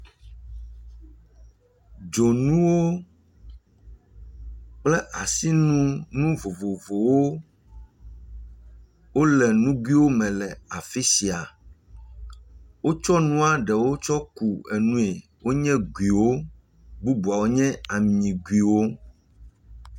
Dzonuwo kple asinu nu vovovovowo wole nuguiwo me le afi sia, wotsɔ nua ɖewo tsɔ ku enue, wonye guiwo bubuawo nye amiguiwo.